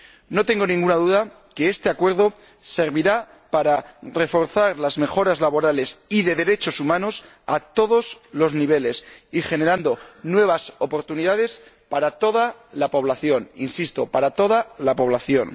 No tengo ninguna duda de que este Acuerdo servirá para reforzar las mejoras laborales y de derechos humanos a todos los niveles y generar nuevas oportunidades para toda la población. Insisto, para toda la población.